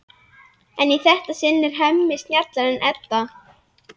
En í þetta sinn er Hemmi snjallari en Edda.